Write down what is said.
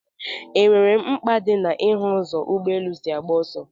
E nwere mkpa dị na ị hụ ụzọ ụgbọ elu si agba ọsọ?